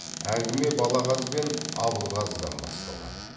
әңгіме балағаз бен абылғазыдан басталған